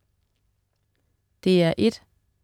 DR1: